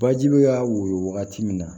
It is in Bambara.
Baji bɛ ka woyo wagati min na